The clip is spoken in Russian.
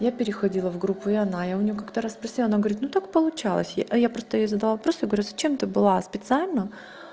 я переходила в группу и она я у неё как-то раз спросила она говорит ну так получалось я а я просто ей задала вопрос я говорю зачем ты была специально